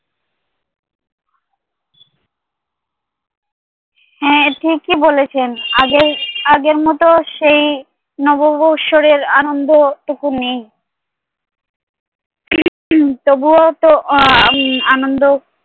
হ্যাঁ ঠিকই বলেছেন, আগের আগের মতো সেই নববৎসরের আনন্দটুকু নেই তবুও তো আহ আনন্দ